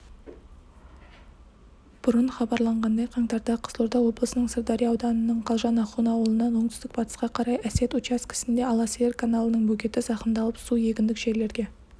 бұрын хабарланғандай қаңтарда қызылорда облысынының сырдария ауданының қалжан ахун ауылынан оңтүстік-батысқа қарай әсет учаскісінде аласиыр каналының бөгеті зақымдалып су егіндік жерлерге